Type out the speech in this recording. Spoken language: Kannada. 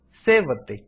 ಸೇವ್ ಒತ್ತಿ